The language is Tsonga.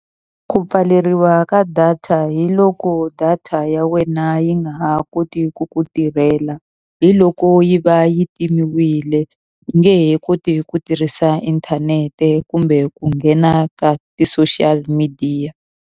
Ku pfaleriwa ka data hi loko data ya wena yi nga ha koti ku ku tirhela, hi loko yi va yi timiwile. U nge he koti ku tirhisa inthanete kumbe ku nghena ka ti-social media.